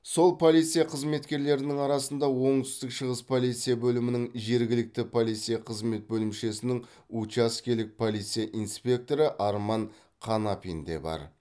сол полиция қызметкерлерінің арасында оңтүстік шығыс полиция бөлімінің жергілікті полиция қызмет бөлімшесінің учаскелік полиция инспекторы арман қанапин де бар